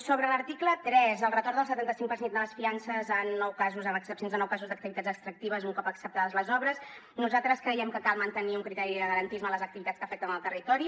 sobre l’article tres el retorn del setanta cinc per cent de les fiances en nou casos amb excepcions de nou casos d’activitats extractives un cop acceptades les obres nosaltres creiem que cal mantenir un criteri de garantisme a les activitats que afecten el territori